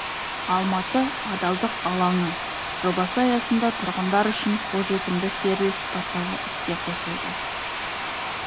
алматы адалдық алаңы жобасы аясында тұрғындар үшін қолжетімді сервис порталы іске қосылды